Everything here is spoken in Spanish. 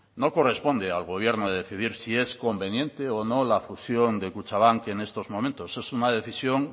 no corresponde al gobierno decidir si es conveniente o no la fusión de kutxabank que en estos momentos es una decisión